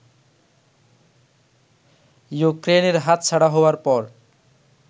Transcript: ইউক্রেইনের হাতছাড়া হওয়ার পর